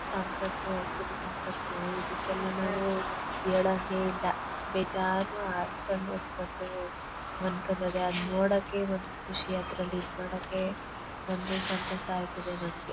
ಸಂಪತ್ತು ಅಸಲಿ ಸಂಪತ್ತು ಇದಕ್ಕೆಲ್ಲಾ ನಾವು ಹೇಳಂಗೆ ಇಲ್ಲ ಬೇಜಾರು ಅಷ್ಟೊಂದು ನೋಡಕ್ಕೆ ಇವತ್ತು ಖುಷಿ ಅದ್ರಲ್ಲಿ ಇದ್ ಮಾಡಕ್ಕೆ ಬಂದು ಸಂತಸ ಆಗ್ತಾತೆ ನಮಗೆ--